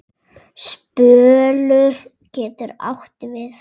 Spölur getur átt við